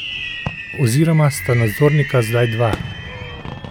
Oziroma sta nadzornika zdaj dva.